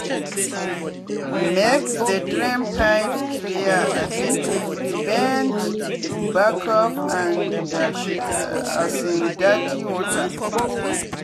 make the drain pipes clear um to prevent backup and um dirty water.